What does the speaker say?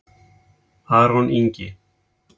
Aron Ingi